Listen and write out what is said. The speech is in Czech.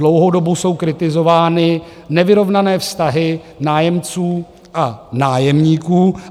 Dlouhou dobu jsou kritizovány nevyrovnané vztahy nájemců a nájemníků.